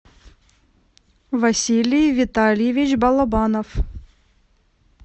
василий витальевич балабанов